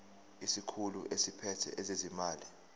isikhulu esiphethe ezezimali